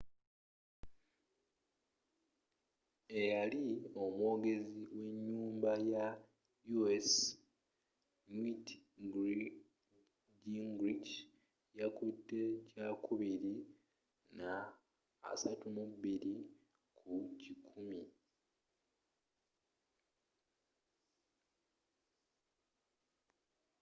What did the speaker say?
eyali omwogezi wenyumba ya u.s newt gingrich yakutte kyakubiri na 32 kukikumi